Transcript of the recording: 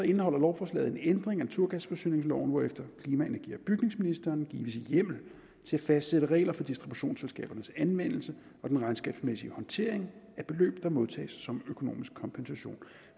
indeholder lovforslaget en ændring af naturgasforsyningsloven hvorefter klima energi og bygningsministeren gives hjemmel til at fastsætte regler for distributionsselskabernes anvendelse og den regnskabsmæssige håndtering af beløb der modtages som økonomisk kompensation